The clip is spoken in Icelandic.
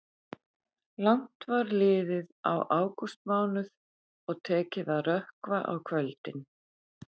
Langt var liðið á ágústmánuð og tekið að rökkva á kvöldin.